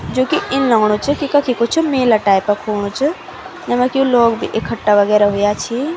जुकी इन लगणु च की कखी कुछ मेला टाइप कु हुणु च जेमा की लोग भी इकठा वगैरा हुयां छी।